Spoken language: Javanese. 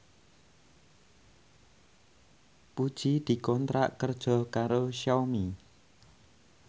Puji dikontrak kerja karo Xiaomi